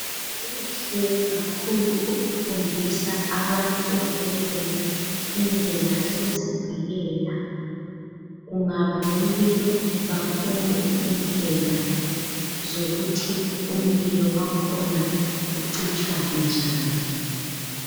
Kuhle kakhulu ukufundisa abantu ezibhedlela indlela zokuzivikela, kungaba lomlilo bafunde indlela zokuthi umlilo wangikhona ucitshwa njani.